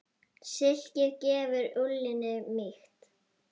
Silkið gefur ullinni mýkt.